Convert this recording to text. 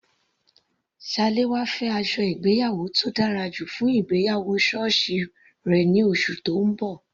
Salawa fẹ́ aṣọ ìgbéyàwó tó dára jù fún ìgbéyàwó sọ́ọ̀sì rẹ̀ ní oṣù tó ń bọ̀.